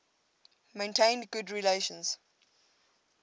maintained good relations